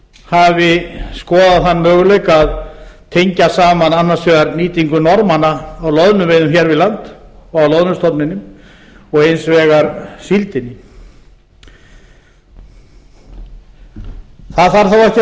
hafi skoðað þann möguleika að tengja saman annars vegar nýtingu norðmanna á loðnuveiðum hér við land og á loðnustofninum og hins vegar síldinni það þarf þó